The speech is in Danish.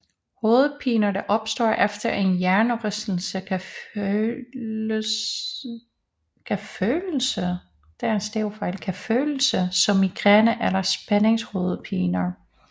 Hovedpiner der opstår efter en hjernerystelse kan følelse som migræne eller spændingshovedpiner